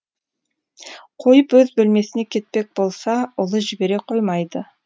қойып өз бөлмесіне кетпек болса ұлы жібере қоймайды